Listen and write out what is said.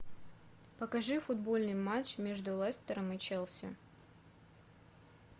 покажи футбольный матч между лестером и челси